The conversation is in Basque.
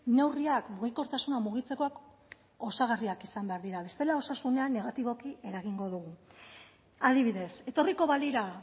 neurriak mugikortasuna mugitzekoak osagarriak izan behar dira bestela osasunean negatiboki eragingo dugu adibidez etorriko balira